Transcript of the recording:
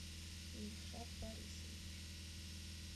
ильшат борисович